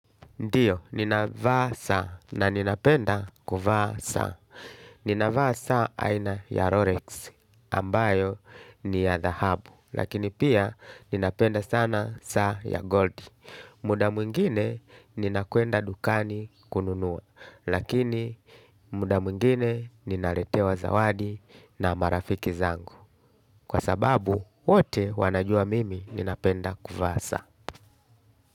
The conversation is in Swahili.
Ndiyo, ninavaa saa na ninapenda kuvaa saa. Ninavaa saa aina ya Rorex ambayo ni ya The Hub. Lakini pia ninapenda sana saa ya Gold. Muda mwingine nina kwenda dukani kununua. Lakini muda mwingine ninaretewa zawadi na marafiki zangu. Kwa sababu, wote wanajua mimi ninapenda kuvaa saa.